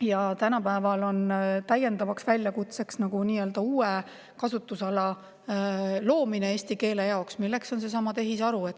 Ja tänapäeval on täiendavaks väljakutseks eesti keele nii-öelda uue kasutusala loomine, milleks on tehisaru.